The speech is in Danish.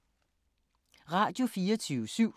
Radio24syv